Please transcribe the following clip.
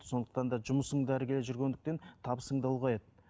сондықтан да жұмысың да ілгері жүргендіктен табысың да ұлғаяды